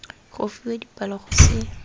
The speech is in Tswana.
go fiwa dipalo go se